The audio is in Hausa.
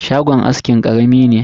Shagon askin karami ne.